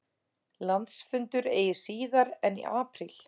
Landsfundur eigi síðar en í apríl